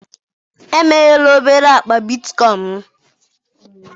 emeghela obere akpa bitcoin m.